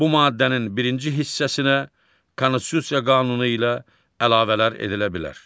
Bu maddənin birinci hissəsinə Konstitusiya qanunu ilə əlavələr edilə bilər.